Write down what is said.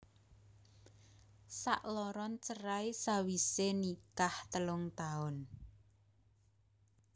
Sakloron cerai sawisé nikah telung taun